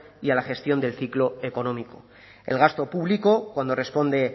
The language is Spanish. y a la gestión del ciclo económico el gasto público cuando responde